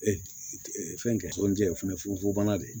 fɛn kɛ tɔnjɛkulu funfunna de